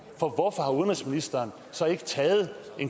for hvorfor har udenrigsministeren så ikke taget